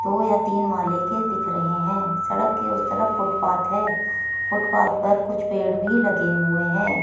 दो या तीन माले के दिख रहे हैं सड़क के उस तरफ फुटपाथ है फुटपाथ पर कुछ पेड़ भी लगे हुए हैं।